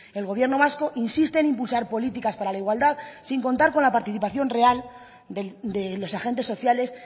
el gobierno vasco insiste en impulsar políticas para la igualdad sin contar con la participación real de los agentes sociales